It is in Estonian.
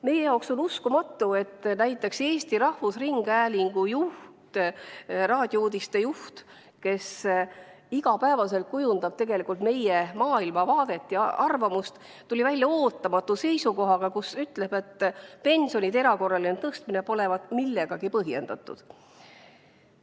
Meie jaoks on uskumatu, et näiteks Eesti Rahvusringhäälingu raadiouudiste juht, kes tegelikult iga päev kujundab meie maailmavaadet ja arvamusi, tuli välja ootamatu seisukohaga, kus ütleb, et pensionide erakorraline tõstmine pole millegagi põhjendatud.